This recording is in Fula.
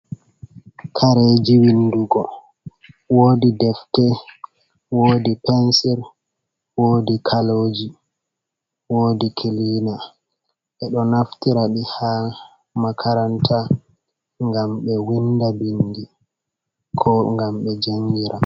Kareji windugo, wodi defte, wodi pensir, wodi kaloji, wodi kilina. Ɓe ɗo naftira ɗi haa makaranta ngam ɓe winda bindi ko ngam ɓe jangira.